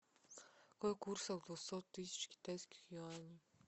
какой курс от двухсот тысяч китайских юаней